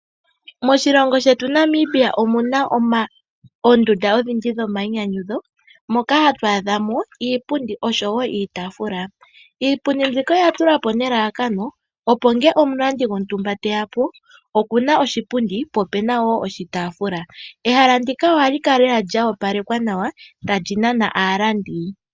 Moshilongo shetu Namibia omuna oondunda odhindji dhomainyanyudho moka hatu adha mo iipundi oshowo iitaafula. Iipundi mbika oya tulwa po nelalakano, opo ngele omulandi gontumba teya, po oku na oshipundi, po opu na wo oshitaafula. Ehala ndika ohali kala lela lya opalekwa nawa, tali nana aalandi.